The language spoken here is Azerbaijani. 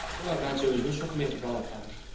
O əvvəlcə özünü çox mehriban aparır.